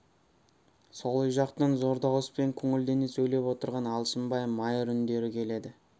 сол үй жақтан зор дауыспен көңілдене сөйлеп отырған алшынбай майыр үндері келеді